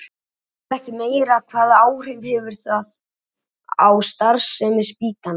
Ef það verður ekki meira, hvaða áhrif hefur það á starfsemi spítalans?